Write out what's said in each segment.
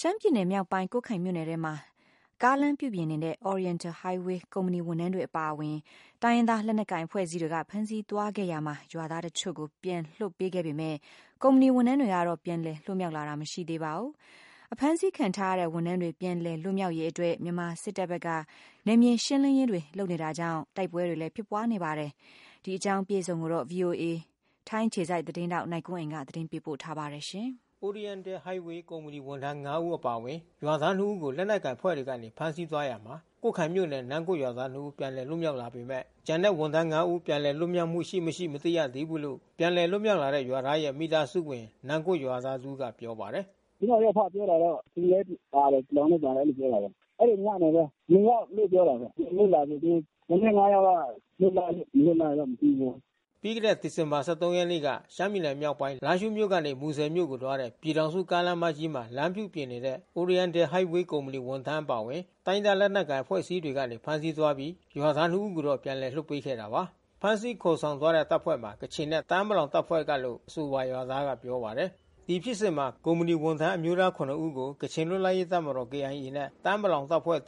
ရှမ်းပြည်နယ်မြောက်ပိုင်းကွတ်ခိုင်မြို့နယ်ထဲမှာ ကားလမ်းပြုပြင်နေတဲ့ Oriental Highway ကုမ္ပဏီဝန်ထမ်းအပါအဝင် အမျိုးသား ဦးကို တိုင်းရင်းသားလက်နက်ကိုင်အဖွဲ့အစည်းတွေက ဖမ်းဆီးသွားခဲ့ရာမှာ ရွာသား ဦးကို ပြန်လွှတ် ပေးခဲ့ပေမဲ့ ဝန်ထမ်း ဦး ပြန်လည်လွတ်မြောက်လာတာမရှိသေးပါဘူး။ အဖမ်းဆီးခံထားရတဲ့ ဝန်ထမ်း တွေပြန်လည်လွတ်မြောက်ရေးအတွက် တပ်မတော်စစ်ကြောင်းတွေကနေ နယ်မြေရှင်းလင်းရေးတွေလုပ်ဆောင် နေတာကြောင့်တိုက်ပွဲဖြစ်ပွါးမှုတွေလဲရှိနေပါတယ်။ ဗွီအိုအေ ထိုင်းအခြေစိုက် သတင်းထောက် နိုင်ကွန်းအိန်ကနေ သတင်းပေးပို့ ထားပါတယ်။ Oriental Highway ကုမ္ပဏီဝန်ထမ်း ဦးအပါအဝင်ရွာသားနှစ်ဦးကို လက်နက်ကိုင်အဖွဲ့တွေကနေဖမ်းဆီးသွားရာမှာ ကွတ်ခိုင်မြို့နယ် နမ့်ဂွတ်ရွာသား ဦးပြန်လည်လွတ်မြောက်လာခဲ့ပေမဲ့ ဝန်ထမ်း ဦး ပြန်လည်လွတ်မြောက်မှုရှိ မရှိ ကို မသိရသေးဘူးလို့ ပြန်လည်လွတ်မြောက်လာတဲ့ရွာသားရဲ့မိသားစုဝင် နမ့်ဂွတ်ရွာသား တဦးကပြောပါတယ်။ "ကျနော့် ယောက်ဖ ပြောတာတော့ ကချင်လဲပါတယ်။ ပလောင်လဲပါတယ်လို့ပြောတာဘဲ။ အဲဒီညမှာဘဲ ယောက်လို့ ပြောတယ်။ ပြန်လွတ်လာနေပြီး ကျန်တဲ့ ယောက်က လွတ်လားမလွတ်လားတော့မသိဘူး။" ပြီးခဲ့တဲ့ဒီဇင်ဘာ ရက်နေ့က ရှမ်းပြည်နယ်မြောက်ပိုင်း လားရှိုးမြို့မှ မူဆယ်မြို့သို့ သွားတဲ့ ပြည်ထောင်စု ကားလမ်း မကြီးမှာ လမ်းပြုပြင်နေတဲ့ Oriental Highway ကုမ္ပဏီဝန်ထမ်းအပါအဝင်အမျိုးသား ၇ဦးကို တိုင်းရင်းသားလက်နက် ကိုင်အဖွဲ့ အစည်းတွေကဖမ်းဆီးသွားခဲ့ပြီး ရွာသား ဦးကိုပြန်လွှတ်ပေးခဲ့တာပါ။ ဖမ်းဆီးခေါ်ဆောင်သွားတဲ့တပ်ဖွဲ့မှာ ကချင်နဲ့ တအာင်းပလောင်တပ်ဖွဲ့ကလို့အဆိုပါရွာသားကပြောပါတယ်။ ဒီဖြစ်စဉ်မှာကုမ္ပဏီဝန်ထမ်း အမျိုးသား ၇ဦးကို ကချင်လွတ်လပ်ရေးတပ်မတော် နဲ့ တအာန်း ပလောင် တပ်ဖွဲ့ တပ်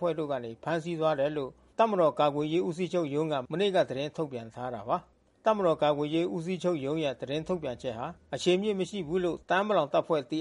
ဖွဲ့ဝင်တို့ကနေ ဖမ်းဆီးသွားတယ်လို့ တပ်မတော်ကာကွယ်ရေး ဦးစီးချုပ်ရုံးက မနေ့က သတင်း ထုတ်ပြန်ထားတာပါ။ တပ်မတော်ကာကွယ်ရေး ဦးစီးချုပ်ရုံး ရဲ့သတင်းထုတ်ပြန်ချက်ဟာ အခြေအမြစ်မရှိဘူးလို့ တအာန်း ပလောင်တပ်ဖွဲ့ ပြ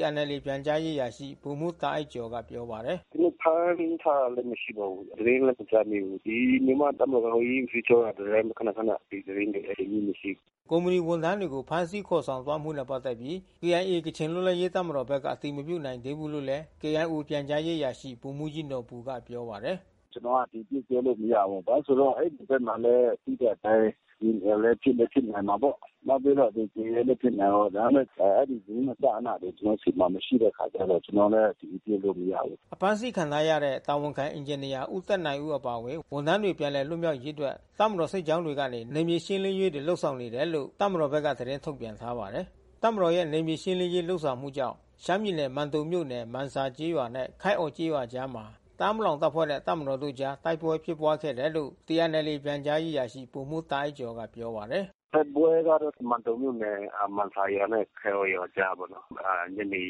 န်ကြားရေးအရာရှိ ဗိုလ်မှူးတာအိုက်ကျော်ကပြောပါတယ်။ "ကျွန်တော်တို့ဖမ်းထားတာလဲမရှိပါဘူး။ သတင်းလဲမကြားမိဘူး။ ဒီမြန်မာ့တပ်မတော်စစ်ဦးစီးချုပ်ကသတင်းတွေခနခန ဒီသတင်းတွေလဲအခြေအမြစ်မရှိဘူး။" ကုမ္ပဏီဝန်ထမ်းတွေကိုဖမ်းဆီးခေါ်ဆောင်သွားမှုနဲ့ပက်သက်ပြီး KIOကချင်လွတ်လပ်ရေးတပ်မတော်ဘက်က အတည် ပြုချက်မပေးနိုင်သေးဘူးလို့ KIOပြန်ကြားရေးတာဝန်ခံ ဗိုလ်မှူးကြီးနော်ဘူ ကပြောပါတယ်။ "ကျွန်တော်ကအတည်ပြုပြောလို့မရဘူး။ ဘာလဲဆိုတော့ အဲဒီဘက်မှာသိတဲ့အတိုင်း KIOလဲဖြစ်လဲဖြစ်နိုင်တာပေါ့။ နောက် ပြီးတော့ TNLAလဲဖြစ်နိုင်တာပေါ့။ ဒါပေမဲ့ အဲဒီသတင်းအစအနတွေကျွန်တော်တို့ဆီမှာမရှိတဲ့အခါကျတော့ ကျွန်တော်လဲ အတည်ပြုလို့မရဘူး။" အဖမ်းဆီးခံထားရတဲ့တာဝန်ခံအင်ဂျင်နီယာ ဦးသက်နိုင်ဦး အပါအဝင် ဝန်ထမ်းတွေပြန်လည်လွတ်မြောက်ရေးအတွက် တပ်မတော်စစ်ကြောင်းတွေကနေ နယ်မြေရှင်းလင်းရေးတွေလုပ်ဆောင်နေတယ်လို့ တပ်မတော်ဘက်ကသတင်း ထုတ်ပြန်ထားပါတယ်။ တပ်မတော်ရဲ့နယ်မြေရှင်းလင်းရေးလုပ်ဆောင်မှုကြောင့် ရှမ်းပြည်နယ်မန်တုံမြို့နယ် မန်ဆာကျေးရွာနဲ့ ခိုက်အော်ကျေး ရွာ ကြားမှာ တအာင်းပလောင်တပ်ဖွဲ့နဲ့ တပ်မတော်တို့အကြားတိုက်ပွဲဖြစ်ပွါးခဲ့တယ်လို့ TNLAပြန်ကြားရေးအရာရှိ ဗိုလ်မှူးတာအိုက်ကျော်ကပြောပါတယ်။ တိုက်ပွဲကတော့ မန်တုံမြို့နယ် မန်ဆာကျေးရွာနဲ့ ခိုက်အော်ရွာကြားပေါ့နော် ညနေ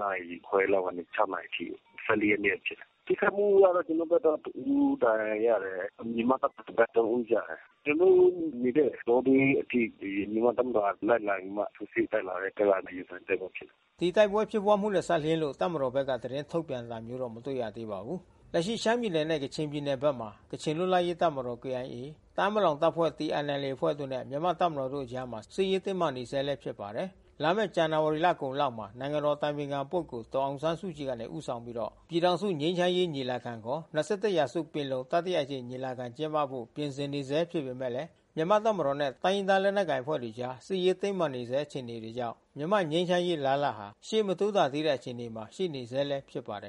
နာရီခွဲကနေ နာရီအထိ ရက်နေ့ကဖြစ်တာ။ ထိခိုက်မှုကတော့ ကျွန်တော်တို့ဘက်ကတဦးဒဏ်ရာရတယ်။ မြန်မာ့တပ်မတော်ဘက် ဦး ကျ တယ်။ ကျွန်တော်တို့နေတဲ့တောတွင်းအထိ မြန်မာ့တပ်မတော်ကလိုက်လံပြီးမှ ထိုးစစ်တက်လာလို့ရင်ဆိုင်တိုက်ပွဲဖြစ်တယ်။ ဒီတိုက်ပွဲဖြစ်ပွားမှုနဲ့စပ်လျင်းလို့ တပ်မတော်ဘက်ကသတင်းထုတ်ပြန်တာမျိုးမတွေ့ရသေးပါဘူး။ လက်ရှိရှမ်းပြည်နယ်နဲ့ ကချင်ပြည်နယ်မှာ ကချင်လွတ်လပ်ရေးတပ်မတော် တအာန်းပလောင်တပ်ဖွဲ့ တပ်ဖွဲ့တို့နဲ့ မြန်မာ့တပ်မတော်တို့အကြားစစ်ရေးတင်းမာနေဆဲဖြစ်နေပါတယ်။ လာမယ့် ဇန်နဝါရီလကုန်လောက်မှာ နိုင်ငံတော်အတိုင်ပင်ခံပုဂ္ဂိုလ်ဒေါ်အောင်ဆန်းစုကြည်ကနေဦးဆောင်ပြီး ပြည်ထောင်စုငြိမ်းချမ်းရေးညီလာခံ ခေါ် ၂၁ ရာစုပင်လုံတတိယမကြိမ်ညီလာခံ ကျင်းပဖို့ ပြင်ဆင်နေဆဲဖြစ်ပေမယ့် မြန်မာ့တပ်မတော်နဲ့ တိုင်းရင်းသားလက်နက်ကိုင်အဖွဲ့တွေအကြား စစ်ရေးတင်းမာနေဆဲအခြေအနေတွေကြောင့် မြန်မာငြိမ်းချမ်းရေး အလားလာဟာ ရှေ့မတိုးသာသေးတဲ့အခြေအနေမှာ ရှိနေဆဲလည်း ဖြစ်ပါတယ်။